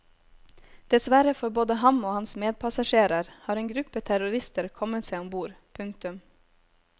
Dessverre for både ham og hans medpassasjerer har en gruppe terrorister kommet seg om bord. punktum